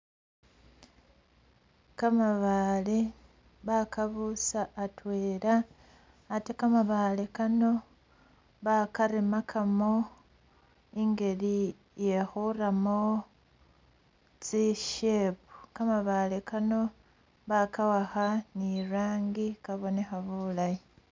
Kamabaale bakabuusa atweela ate kamabaale Kano bakaremakamo ingeli iye'khuramo tsi'shape kamabaale Kano baka'akha ni'rangi kabonekha bulaayi